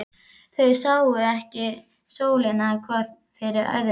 Þau sáu ekki sólina hvort fyrir öðru.